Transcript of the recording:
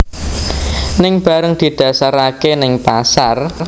Ning bareng didhasarake neng pasar